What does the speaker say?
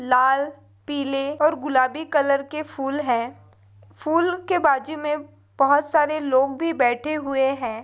लाल पिले और गुलाबी कलर के फुल है फुल के बाजू मे बहुत सारे लोग भी बैठे हुए है।